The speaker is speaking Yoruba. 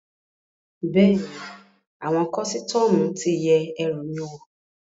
Bẹ́ẹ̀ni, àwọn kọ́sítọ́mù ti yẹ ẹrù mi wò